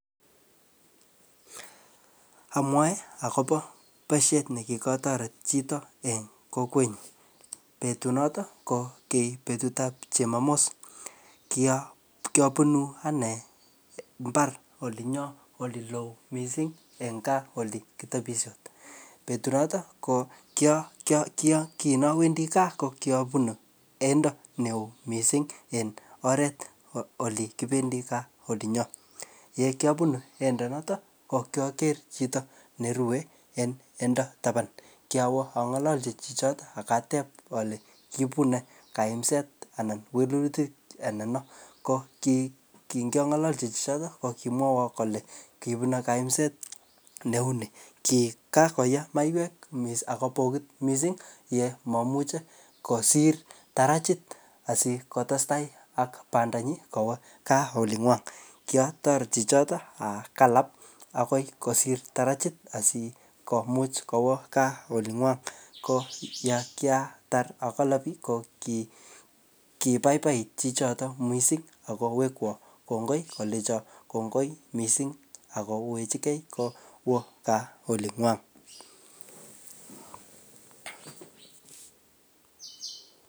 Amwae akobo boisiet ne kikotoret chito en kokwet nyu. Betut notok, ko ki betut ap jumamos. Kia-kiabunu ane mbar olinyo ole loo missing eng gaa ole kitebisie. Betut notok, ko kia-kia-kia-kinoo awendi gaa, ko kiabunu eindo neoo missing en oret ole kibendi gaa olinyo. Ye kiabunu eindo notok, ko kiaker chito nerue en eindo taban. Kiawo angalalchi chichotok akatep ale kiibu nee kaimset anan wilutik anan, ko kiy, ki ngialalachi chichotok ko kimwawo kole kibune kaimset neu nii. Kikaoe maiwek missing akopokit missing yemamuchi kosir tarajit asikotestai ak panda nyi kowo gaa oling'wong. Kiatoret chichotok akanap akoi kosir tarajit asikomuch kowo gaa oling'wong. Ko nyakiatar akanapi, ko ki kibaibai chichotok missing akowekwo kongoi kolecho kongoi missing akowechikei kowo gaa olingwong